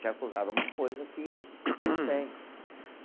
Te acusar de uma coisa que não tem. Claro.